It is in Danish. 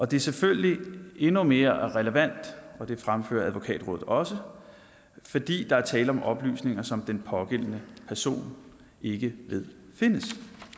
det er selvfølgelig endnu mere relevant og det fremfører advokatrådet også fordi der er tale om oplysninger som den pågældende person ikke ved findes